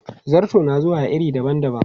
Zarto na zuwa a iri dabam dabam.